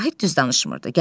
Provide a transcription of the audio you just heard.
Vahid düz danışmırdı.